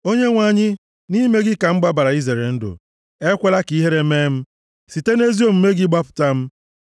Onyenwe anyị, nʼime gị, ka m gbabara izere ndụ; ekwela ka ihere + 31:1 Ihere Maọbụ, ihe na-eweta ọnụma ma ọ bụkwanụ, ọnọdụ ịkwa emo mee m; site nʼezi omume gị gbapụta m.